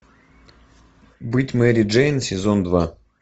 быть мэри джейн сезон два